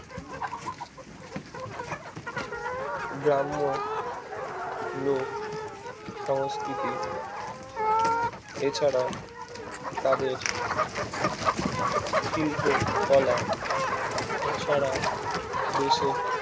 গ্রাম্য লোক সংস্কৃতি এছাড়াও তাদের শিল্প কলা ছাড়া দেশে